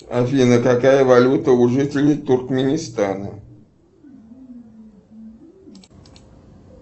афина какая валюта у жителей туркменистана